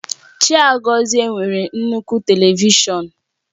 Chiagozie nwere nnukwu Televishọn